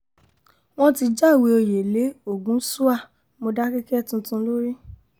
wọ́n ti jáwé òye lé ọ̀gùnṣúà mòdákẹ́kẹ́ tuntun lórí